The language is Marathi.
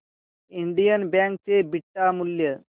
इंडियन बँक चे बीटा मूल्य